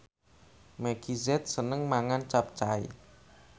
Meggie Z seneng mangan capcay